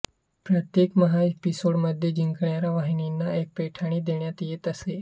प्रत्येक एपिसोडमध्ये जिंकणाऱ्या वहिनींना एक पैठणी देण्यात येत असे